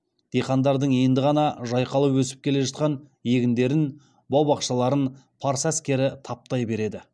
диқандардың енді ғана жайқалып өсіп келе жатқан егіндерін бау бақшаларын парсы әскері таптай береді